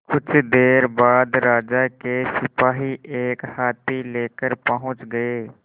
कुछ देर बाद राजा के सिपाही एक हाथी लेकर पहुंच गए